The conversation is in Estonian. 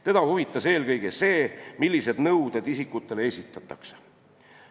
Teda huvitas eelkõige see, millised nõuded nendele isikutele esitatakse.